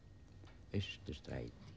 Austurstræti